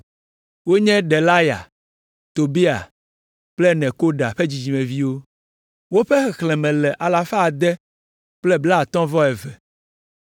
Wonye Delaya, Tobia kple Nekoda ƒe dzidzimeviwo. Woƒe xexlẽme le alafa ade kple blaatɔ̃ vɔ eve (652).